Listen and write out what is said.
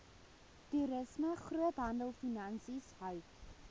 toerisme groothandelfinansies hout